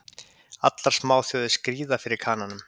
Allar smáþjóðir skríða fyrir Kananum.